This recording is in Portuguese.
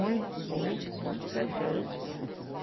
Muito, muito, muito bem feito.